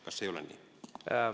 Kas ei ole nii?